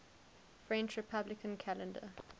french republican calendar